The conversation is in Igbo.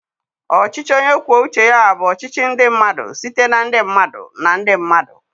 Ọchịchị onye kwuo uche ya bụ ọchịchị ndị mmadụ site na ndị mmadụ na ndị mmadụ.